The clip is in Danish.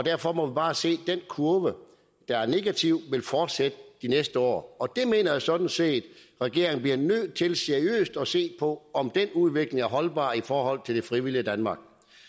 derfor må vi bare se den kurve der er negativ vil fortsætte de næste år jeg mener sådan set at regeringen bliver nødt til seriøst at se på om den udvikling er holdbar i forhold til det frivillige danmark